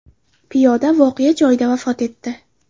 Piyoda voqea joyida vafot etdi.